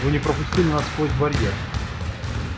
вы не пропустили нас сквозь барьер